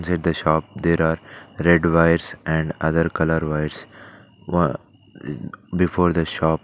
Beside the shop there are red wires and other colour wires aa before the shop.